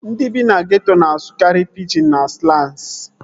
Ndị bi na geeto na-asụkarị pijin na slans